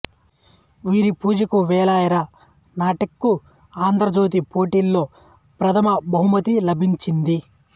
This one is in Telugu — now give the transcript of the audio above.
వీరి పూజకు వేళాయెరా నాటికకు ఆంధ్రజ్యోతి పోటీలో ప్రథమ బహుమతి లభించింది